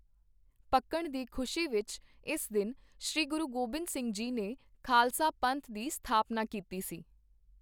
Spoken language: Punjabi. ਪੱਕਣ ਦੀ ਖੁਸ਼ੀ ਵਿੱਚ ਇਸ ਦਿਨ ਸ਼੍ਰੀ ਗੁਰੂ ਗੋਬਿੰਦ ਸਿੰਘ ਜੀ ਨੇ ਖਾਲਸਾ ਪੰਥ ਦੀ ਸਥਾਪਨਾ ਕੀਤੀ ਸੀ